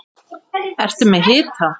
Ertu með hita?